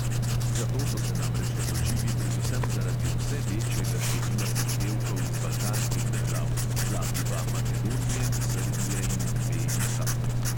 Za to so se namreč odločili predvsem zaradi vse večjega števila zahtevkov iz balkanskih držav, zlasti pa makedonije, srbije in BIH.